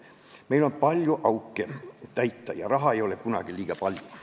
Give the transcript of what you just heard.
Meil on vaja palju auke täita ja raha ei ole kunagi liiga palju.